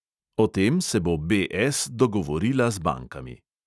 O tem se bo BS dogovorila z bankami.